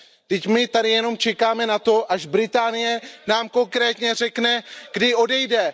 Vždyť my tady jenom čekáme na to, až Británie nám konkrétně řekne, kdy odejde.